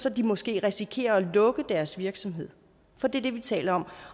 at de måske risikerer at måtte lukke deres virksomhed for det er det vi taler om